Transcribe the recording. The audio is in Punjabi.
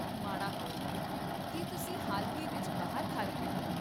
ਮਾੜਾ ਹੋਇਆ, ਕੀ ਤੁਸੀਂ ਹਾਲ ਹੀ ਵਿੱਚ ਬਾਹਰ ਖਾ ਰਹੇ ਹੋ?